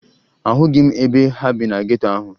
Ahụghị m ebe ha bi na geto ahụ